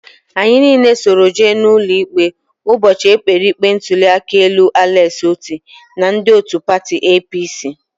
Anyị niile soro jee n'ụlọikpe ụbọchị e kpere ikpe ntụliaka elu Alex Otti na ndị otu pati APC